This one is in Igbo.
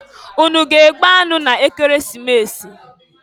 Unu a ga-egbu anụ n'Ekeresimesi?